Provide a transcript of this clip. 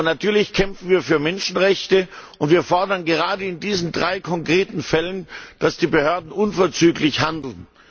Natürlich kämpfen wir für Menschenrechte und wir fordern gerade in diesen drei konkreten Fällen, dass die Behörden unverzüglich handeln.